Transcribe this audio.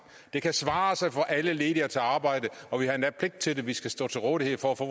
det kan svare sig for alle ledige at tage arbejde og vi har endda pligt til det man skal stå til rådighed for at få